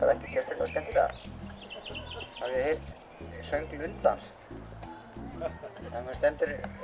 ekkert sérstaklega skemmtilega hafið þið heyrt söng lundans þegar maður stendur